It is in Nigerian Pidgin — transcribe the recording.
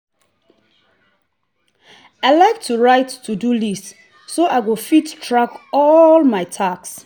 i like to write to-do list so i go fit track all my tasks.